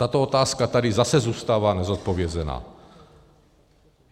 Tato otázka tady zase zůstává nezodpovězená.